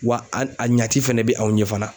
Wa a n a ɲaci fɛnɛ be aw ɲe fana.